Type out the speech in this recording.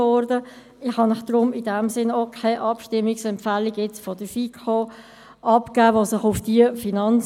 Deshalb kann ich Ihnen zur Finanzmotion () auch keine Abstimmungsempfehlung der FiKo abgeben.